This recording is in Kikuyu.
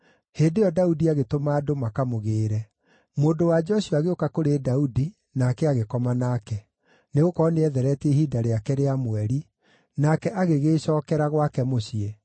Hĩndĩ ĩyo Daudi agĩtũma andũ makamũgĩĩre. Mũndũ-wa-nja ũcio agĩũka kũrĩ Daudi, nake agĩkoma nake. (Nĩgũkorwo nĩethereetie ihinda rĩake rĩa mweri), nake agĩgĩĩcookera gwake mũciĩ.